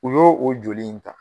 U y'o o joli in ta